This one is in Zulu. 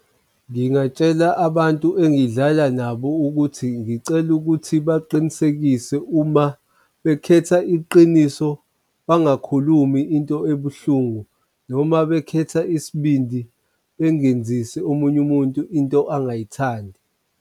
Ngingatshela abantu engidlala nabo ukuthi ngicela ukuthi baqinisekise uma bekhetha iqiniso bangakhulumi into ebuhlungu, noma bekhetha isibindi bengenzise omunye umuntu into angayithandi.